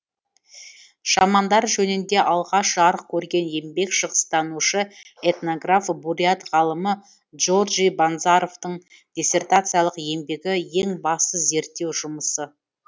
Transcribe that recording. шамандар жөнінде алғаш жарық көрген еңбек шығыстанушы этнограф бурят ғалымы доржи банзаровтың диссертациялық еңбегі ең басты зерттеу жұмысы